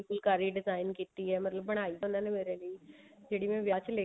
phulkari design ਕੀਤੀ ਹੈ ਮਤਲਬ ਬਣਾਈ ਤਾਂ ਉਹਨਾ ਨੇ ਮੇਰੇ ਲਈ ਜਿਹੜੀ ਮੈਂ ਵਿਆਹ ਚ